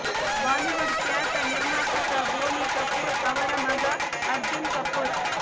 Bollywood ಖ್ಯಾತ ನಿರ್ಮಾಪಕ ಬೋನಿ ಕಪೂರ್ ಅವರ ಮಗ ಅರ್ಜುನ್ ಕಪೂರ್